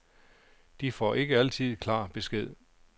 De får ikke altid klar besked.